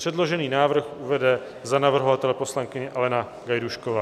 Předložený návrh uvede za navrhovatele poslankyně Alena Gajdůšková.